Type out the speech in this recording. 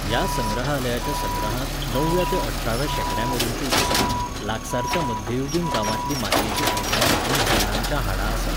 ह्या संग्रहालयाच्या संग्रहांत णवव्या ते अठराव्या शेंकड्यामेरेनच्यो वस्तू, लागसारच्या मध्ययुगीन गांवांतलीं मातयेचीं आयदनां आनी व्हेलांच्या हाडां आसात.